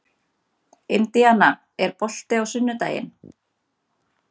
Indiana, er bolti á sunnudaginn?